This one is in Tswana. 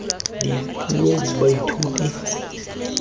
dipuo baithuti ba tla kgona